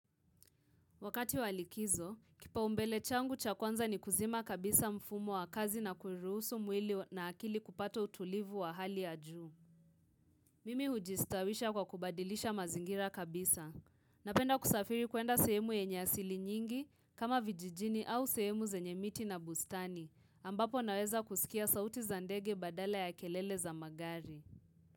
Wakati wa likizo, kipao mbele changu cha kwanza ni kuzima kabisa mfumo wa kazi na kuruhusu mwili wa na akili kupato utulivu wa hali ya juu. Mimi hujistawisha kwa kubadilisha mazingira kabisa. Napenda kusafiri kuenda sehemu yenye asili nyingi kama vijijini au sehemu zenye miti na bustani, ambapo naweza kusikia sauti za ndege badala ya kelele za magari.